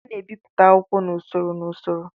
A na-ebipụta akwụkwọ n'usoro n'usoro